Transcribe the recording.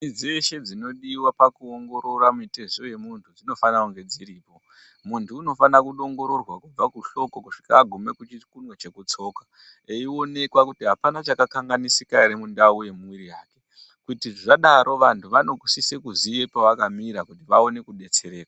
Michini dzese dzinodiwa pakuongorora mitezo yemunhu dzinofanire kunge dziripo ,muntu unofanire kuongororwa kubve kuhloko kusvike agume kuchikunwe chemutsoka eionekwa kuti apana chakakanganisika ere mundau yemwiri yake kuti zvadaro vanhu vanosise kuziya pavakamira kuti vaone kudetsereka.